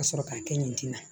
Ka sɔrɔ k'a kɛ nin tin na